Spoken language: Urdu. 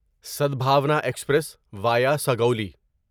Sadbhavna express via Sugauli